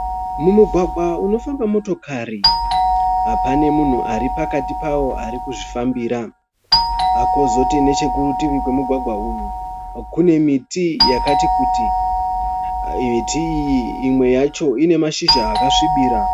Mumugwangwa munofamba motokari, pane munhu aripakati pawo arikuzvifambira. Kozoti nechekurutivi kwemugwagwa uyu kune miti yakati kuti. Miti iyi imwe yacho inemashizha akasvibira.